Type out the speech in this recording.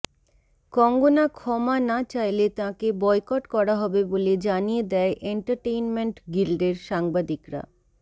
কঙ্গনা ক্ষমা না চাইলে তাঁকে বয়কট করা হবে বলে জানিয়ে দেয় এন্টারটেনমেন্ট গিল্ডের সাংবাদিকরা